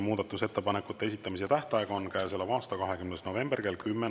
Muudatusettepanekute esitamise tähtaeg on käesoleva aasta 20. november kell 10.